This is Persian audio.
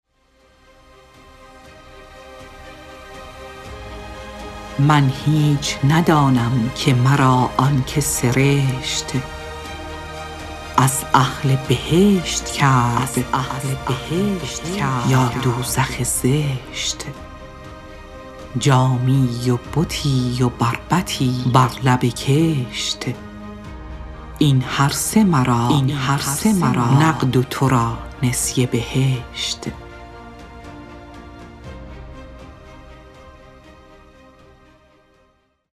من هیچ ندانم که مرا آنکه سرشت از اهل بهشت کرد یا دوزخ زشت جامی و بتی و بربطی بر لب کشت این هر سه مرا نقد و تو را نسیه بهشت